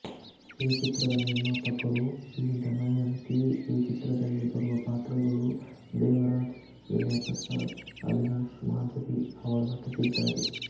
ಈ ಚಿತ್ರದ ನಿರ್ಮಾಪಕರು ಬಿ ದಮಯಂತಿ ಈ ಚಿತ್ರದಲ್ಲಿ ಬರುವ ಪಾತ್ರಗಳು ದೇವರಾಜ್ ವಿನಯಪ್ರಸಾದ್ ಅವಿನಾಶ್ ಮಾಧುರಿ ಅವರು ನಟಿಸಿದ್ದಾರೆ